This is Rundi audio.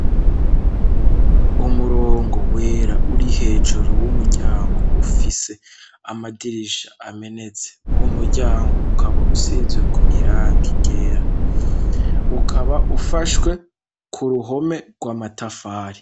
Umurongo wera, uri hejuru y'umuryango ufise amadirisha amenetse, uwo muryango ukaba usizeko irangi ryera, ukaba ufashwe ku ruhome rw'amatafari.